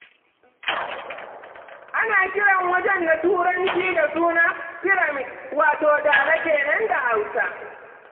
Ana kiran wajen da Turanci da suna Firamid, wato Dala ke nan da Hausa.